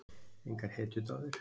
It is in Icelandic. Engar hetjudáðir?